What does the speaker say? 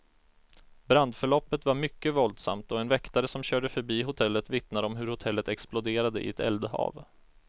Brandförloppet var mycket våldsamt, och en väktare som körde förbi hotellet vittnar om hur hotellet exploderade i ett eldhav.